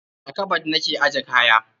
A kabad na ke ajje kaya.